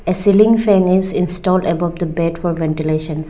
a ceiling fan is installed above the bed for ventilations.